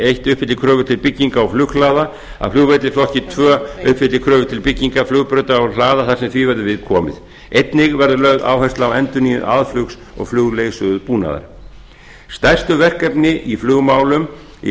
eitt uppfylli kröfur til bygginga flughlaða að flugvellir í flokki tvö uppfylli kröfur til bygginga flugbrauta og hlaða þar sem því verður við komið einni verður lögð áhersla á endurnýjun aðflugs og flugleiðsögubúnaðar stærstu verkefni í flugmálum á